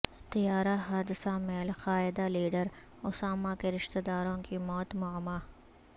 طیارہ حادثہ میں القاعدہ لیڈر اسامہ کے رشتہ داروں کی موت معمہ